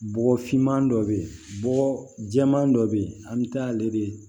Bɔgɔfinman dɔ bɛ yen bɔgɔ jɛman dɔ bɛ yen an bɛ taa ale de